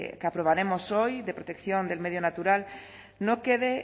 que aprobaremos hoy de protección del medio natural no quede